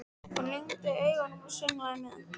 Hún lygndi augunum og sönglaði með.